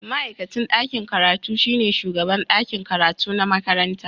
Ma'aikacin ɗakin karatu shine shugaban ɗakin karatu na makaranta